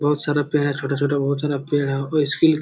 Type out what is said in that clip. बहुत सारा पेड़ है छोटा-छोटा बहुत सारा पेड़ है और इसके लिए --